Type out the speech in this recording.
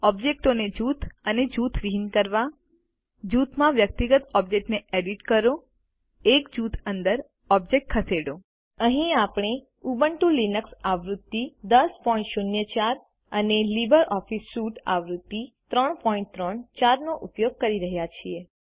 ઓબ્જેક્ટો ને જૂથ અને જૂથવિહીન કરવા જૂથમાં વ્યક્તિગત ઓબ્જેક્ટોને એડિટ કરો એક જૂથ અંદર ઓબ્જેક્ટો ખસેડો અહીં આપણે ઉબુન્ટુ લિનક્સ આવૃત્તિ 1004 અને લિબ્રિઓફિસ સ્યુટ 334 આવૃત્તિ વાપરી રહ્યા છીએ